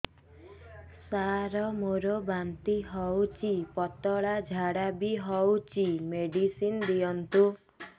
ସାର ମୋର ବାନ୍ତି ହଉଚି ପତଲା ଝାଡା ବି ହଉଚି ମେଡିସିନ ଦିଅନ୍ତୁ